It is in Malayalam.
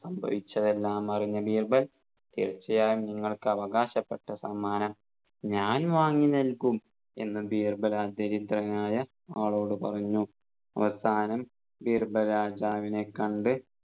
സംഭവിച്ചതെല്ലാം അറിഞ്ഞ ബീർബൽ തീർച്ചയായും നിങ്ങൾക്ക് ആവാകാശപ്പെട്ട സമ്മാനം ഞാൻ വാങ്ങി നൽകും എന്ന് ബീർബൽ ആ ദാരിദ്രനായ ആളോട് പറഞ്ഞു അവസാനം ബീർബൽ രാജാവിനെ കണ്ട്